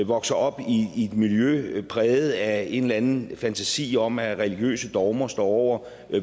vokser op i et miljø præget af en eller anden fantasi om at religiøse dogmer står over